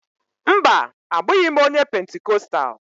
Mba, abụghị m onye Pentikostal